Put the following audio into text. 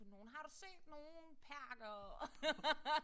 Har du set nogen perkere?